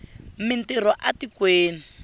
mi ntirho a tikweni